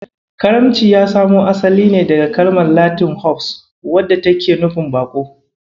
Karamci ya samo asali ne daga kalmar Latin "Hospes" wadda take nufin "Baƙo".